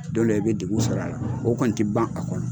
A dɔw la i bɛ degun sɔrɔ a la o kɔni t'i ban a kɔnɔ.